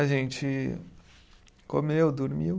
A gente comeu, dormiu.